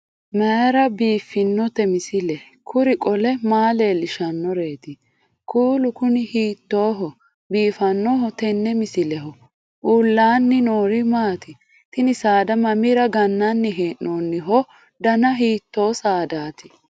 mayra biiffinote misile? kuri qole maa leellishannoreeti? kuulu kuni hiittooho biifannoho tenne misilehu? uullaanni noori maati? tini saada mamira gannanni hee'noonniho dana hiito saadaati